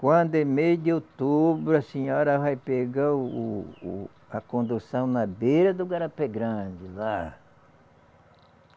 Quando é mês de outubro, a senhora vai pegar o o, a condução na beira do Garapé Grande, lá.